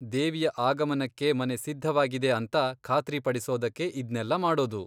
ದೇವಿಯ ಆಗಮನಕ್ಕೆ ಮನೆ ಸಿದ್ಧವಾಗಿದೆ ಅಂತ ಖಾತ್ರಿ ಪಡಿಸೋದಕ್ಕೆ ಇದ್ನೆಲ್ಲ ಮಾಡೋದು.